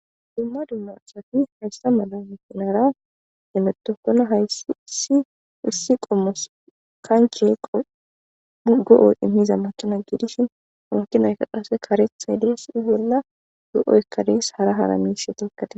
Dumma dumma asati haysa mala makinara hemetokona hayssi issi issi qommos kanche go7o immiza makina giidishin munkinayka qase karethaydes i bolla do7oykanees hara haramiishe tokkate